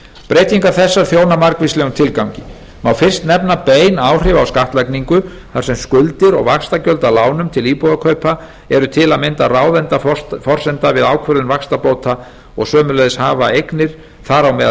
breytingar þessar þjóna margvíslegum tilgangi má fyrst nefna bein áhrif á skattlagningu þar sem skuldir og vaxtagjöld af lánum til íbúðakaupa eru til að mynda ráðandi forsenda við ákvörðun vaxtabóta og sömuleiðis hafa eignir þar á meðal